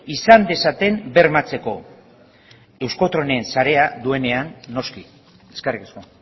izan dezaten bermatzeko euskotrenen sareak duenean noski eskerrik asko